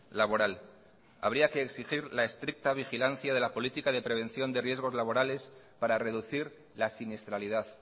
laboral habría que exigir la estricta vigilancia de la política de prevención de riesgos laborales para reducir la siniestralidad